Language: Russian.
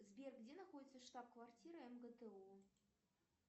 сбер где находится штаб квартира мгту